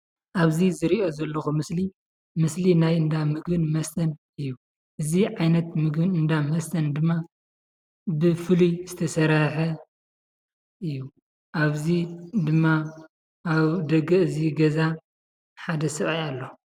ኣብ ዝርኦ ዘለኩ ምስሊ ምስሊ ናይ እንደ ምግብን መስተን እዩ እዚ ዓይነት ቤት ምግብን እዳ መስተን ድማ ብፍሉ ዝተስርሕ እዩ ኣብ ዚ ድማ ኣብ ደገ እቲ ገዛ ሓደ ሰባኣይ ኣሎ።